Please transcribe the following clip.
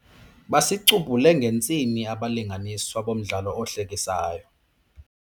Basicubhule ngentsini abalinganiswa bomdlalo ohlekisayo.